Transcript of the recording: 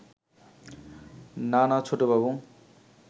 না না ছোটবাবু